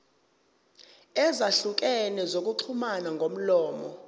ezahlukene zokuxhumana ngomlomo